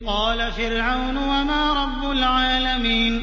قَالَ فِرْعَوْنُ وَمَا رَبُّ الْعَالَمِينَ